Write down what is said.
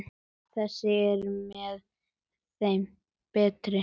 Þessi er með þeim betri.